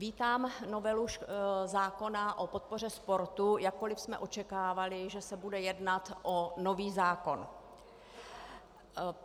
Vítám novelu zákona o podpoře sportu, jakkoliv jsme očekávali, že se bude jednat o nový zákon.